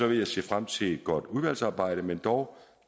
vil jeg se frem til et godt udvalgsarbejde men dog